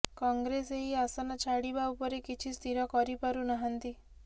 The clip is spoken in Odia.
କଂଗ୍ରେସ ଏହି ଆସନ ଛାଡିବା ଉପରେ କିଛି ସ୍ଥିର କରିପାରୁ ନାହାନ୍ତି